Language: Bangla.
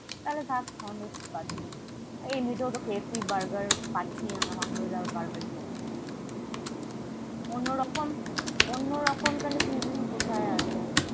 তাহলে থাক Hondo's বাদ দিবি। এমনিতেও তো, KFC burger খাচ্ছি আমরা। Hondo's এর burger খেয়ে কি করবো?